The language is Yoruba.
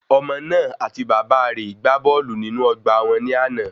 Ọmọ náà àti Bàbá rè gbá bọ́ọ̀lù nínú ọgbà wọn ní àná